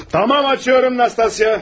Yaxşı, açıram Nastasya.